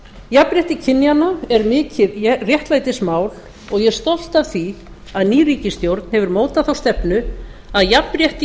jafnrétti kynjanna er mikið réttlætismál og ég er stolt af því að ný ríkisstjórn hefur mótað þá stefnu að jafnrétti í